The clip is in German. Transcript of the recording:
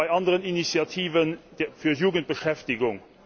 bei anderen Initiativen für Jugendbeschäftigung.